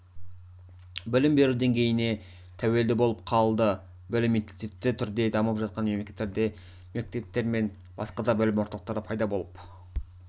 білім беру деңгейіне тəуелді болып қалды білім интенсивті түрде дамып жатқан мемлекеттерде мектептер мен басқа да білім орталықтары пайда болып